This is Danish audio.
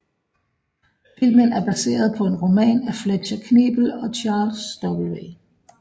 Filmen er baseret på en roman af Fletcher Knebel og Charles W